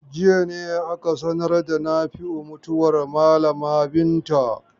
Jiya ne aka sanar da Nafi'u mutuwar malama Binta.